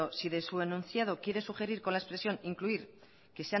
si de su enunciado quiere sugerir con la expresión incluir